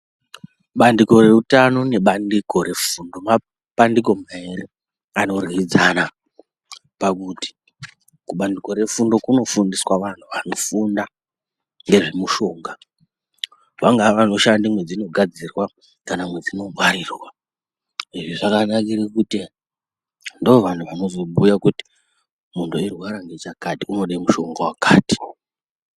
Pandiko reutano nebandiko refundo mabandiko maviri anorwidzana pakuti kubandiko refundo kunofundiswa vantu vanofunda nezvemushonga. Vanga vanofunda mwedzinogadzirwa kana mwedzinongwarirwa. Izvi zvakanakire kuti ndovanhu vanozobhuya kuti muntu eyirwara ngechakati unoda mushonga wakati.